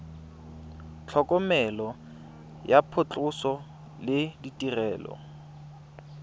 tlhokomelo ya phatlhoso le ditirelo